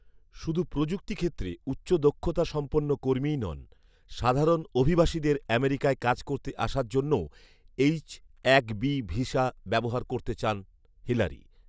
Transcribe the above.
শুধু প্রযুক্তি ক্ষেত্রে উচ্চ দক্ষতা সম্পন্ন কর্মীই নন, সাধারণ অভিবাসীদের আমেরিকায় কাজ করতে আসার জন্যও এইচ এক বি ভিসা ব্যবহার করতে চান হিলারি